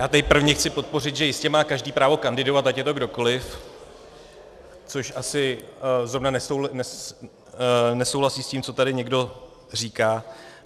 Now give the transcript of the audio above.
Já tady prvně chci podpořit, že jistě každý má právo kandidovat, ať je to kdokoliv, což asi zrovna nesouhlasí s tím, co tady někdo říká.